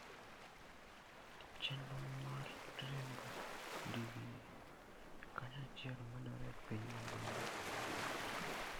Chenro mar riembo ndigni kanyachiel medore e piny mangima.